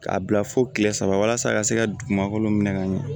K'a bila fo kile saba walasa a ka se ka dugumakolo minɛ ka ɲɛ